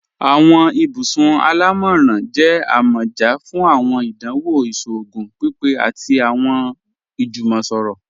Awọn ibùsùn alámọ́ran jẹ̀ àmọ́já fún awọn ìdánwò ìṣòogùn pípé àti awọn ìjúmọ̀sọ̀rọ̀.